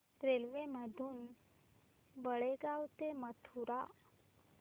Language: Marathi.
रेल्वे मधून बेळगाव ते मथुरा